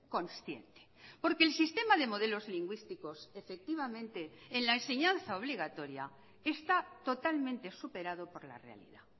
consciente porque el sistema de modelos lingüísticos efectivamente en la enseñanza obligatoria está totalmente superado por la realidad